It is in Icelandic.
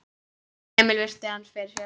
Emil virti hann fyrir sér.